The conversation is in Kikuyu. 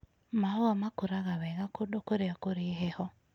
Mahũa makũraga wega kũndũ kũrĩa kũrĩ na heho.